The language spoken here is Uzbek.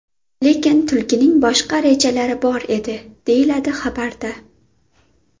Lekin tulkining boshqa rejalari bor edi, deyiladi xabarda.